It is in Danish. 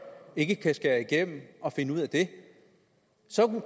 ikke kan skære igennem og finde ud af det